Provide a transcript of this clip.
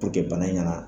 bana kana